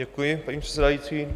Děkuji, paní předsedající.